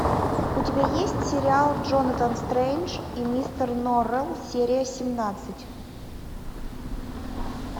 у тебя есть сериал джонатан стрендж и мистер норрелл серия семнадцать